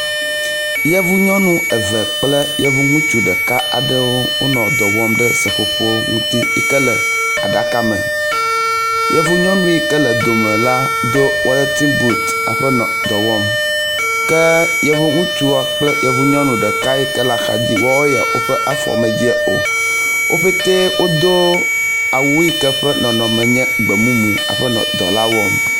Yevu nyɔnu eve kple yevu ŋutsu ɖeka aɖewo wonɔ dɔ wɔm ɖe seƒoƒo ŋuti yi ke le aɖaka me. Yevu yɔnu yi ke le dome la do wulintin but hafi nɔ dɔ wɔm ke yevu ŋutsua kple yevu nyɔnu yi ke la axa dzi wɔwo ya woƒe afɔ medze o ye wo katã wodo awu yike ƒe nɔnɔme nye gbemumu hafi nɔ dɔ la wɔm.